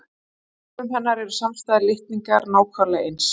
Í frumum hennar eru samstæðir litningar nákvæmlega eins.